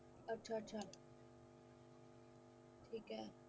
ਅੱਛਾ ਅੱਛਾ ਠੀਕ ਹੈ